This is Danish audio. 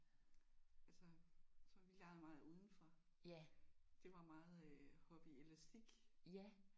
Altså så vi legede meget udenfor. Det var meget øh hoppe i elastik